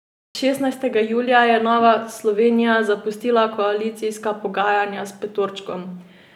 Šestnajstega julija je Nova Slovenija zapustila koalicijska pogajanja s petorčkom.